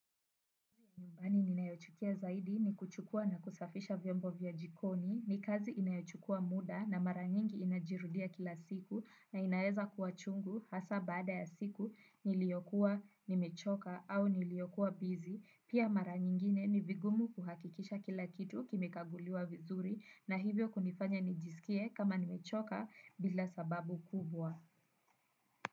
Nyumbani ninayochukia zaidi ni kuchukua na kusafisha vyombo vya jikoni, ni kazi inayochukua muda na mara nyingi inajirudia kila siku na inaeza kuwa chungu hasa baada ya siku niliyokuwa ni mechoka au niliyokuwa bizi, pia mara nyingine ni vigumu kuhakikisha kila kitu kimekaguliwa vizuri na hivyo kunifanya nijisikie kama nimechoka bila sababu kubwa.